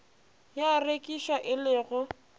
ya rekišwa e le go